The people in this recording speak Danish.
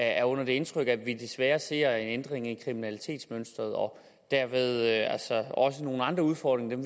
er under det indtryk at vi desværre ser en ændring i kriminalitetsmønsteret og dermed altså også har nogle andre udfordringer end